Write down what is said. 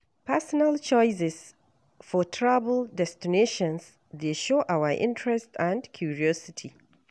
Personal choices for travel destinations dey show our interests and curiosity.